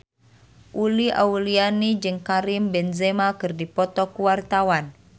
Uli Auliani jeung Karim Benzema keur dipoto ku wartawan